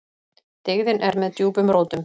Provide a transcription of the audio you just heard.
Dyggðin er með djúpum rótum.